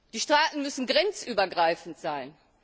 Die Strafen müssen grenzübergreifend sein.